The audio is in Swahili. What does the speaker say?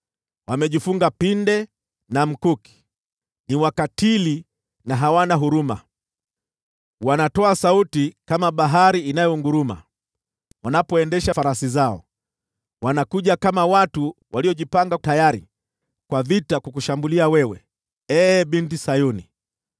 Wamejifunga pinde na mkuki, ni wakatili na hawana huruma. Wanatoa sauti kama bahari inayonguruma wanapoendesha farasi zao. Wanakuja kama watu waliojipanga tayari kwa vita ili kukushambulia, ee Binti Sayuni.”